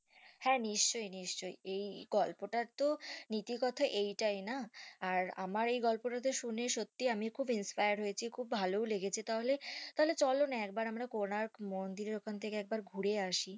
হ্যাঁ নিশ্চই নিশ্চই এই গল্পটার তো নীতি কথা এটাই তাই না আর আমার এই গল্পটাতে শুনে সত্যিই আমি খুব inspair হয়েছি খুব ভালো লেগেছে তাহলে তাহলে চলোনা আমরা একবার কনক মন্দির এর কাছে থেকে ঘুরে আসি